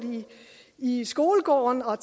i skolegården og